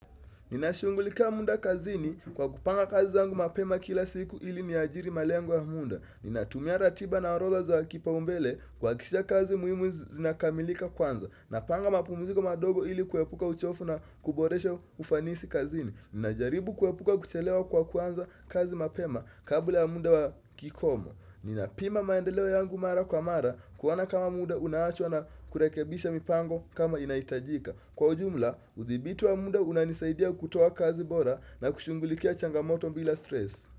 Ninashungulika muda kazini kwa kupanga kazi zangu mapema kila siku ili ni ajiri malengo wa muda Ninatumia ratiba na orodha zakipa umbele kuha kisha kazi muhimu zinakamilika kwanza Napanga mapumuziko madogo ili kuepuka uchofu na kuboresha ufanisi kazini Ninajaribu kuepuka kuchelewa kwa kuanza kazi mapema kabla ya muda wa kikomo Ninapima maendeleo yangu mara kwa mara kuona kama muda unaachwa na kurekebisha mipango kama inahitajika Kwa jumla, udhibiti wa muda unanisaidia kutoa kazi bora na kushungulikia changamoto bila stress.